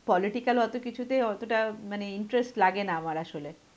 political অত কিছুতে অতটা, মানে interest লাগেনা আমার আসলে.